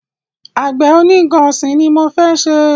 Àgbẹ̀ oní nnkan ọ̀sìn ni mọ fẹ́ ṣe.